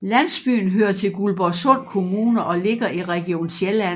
Landsbyen hører til Guldborgsund Kommune og ligger i Region Sjælland